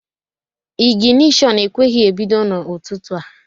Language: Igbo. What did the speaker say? Ịginishon ekweghị ebido n'ụtụtụ a